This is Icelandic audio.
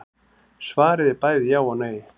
Svarið er bæði já og nei.